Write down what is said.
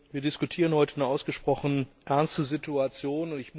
Wir diskutieren heute eine ausgesprochen ernste Situation.